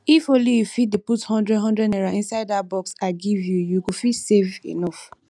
if ony you fit dey put hundred hundred naira inside dat box i give you you go fit save enough